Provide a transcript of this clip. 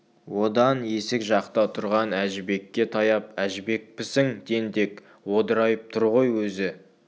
одан есік жақта тұрған әжібекке таяп әжібекпісің тентек одырайып тұр ғой өзі